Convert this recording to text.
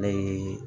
Ne ye